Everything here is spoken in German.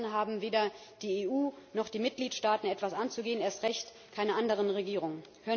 Kundendaten haben weder die EU noch die Mitgliedstaaten etwas anzugehen, erst recht keine anderen Regierungen.